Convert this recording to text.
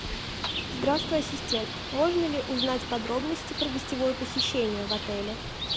здравствуй ассистент можно ли узнать подробности про гостевое посещение в отеле